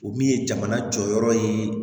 O min ye jamana jɔyɔrɔ ye